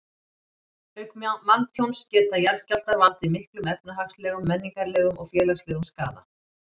Auk manntjóns geta jarðskjálftar valdið miklum efnahagslegum, menningarlegum og félagslegum skaða.